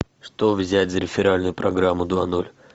что взять за реферальную программу два ноль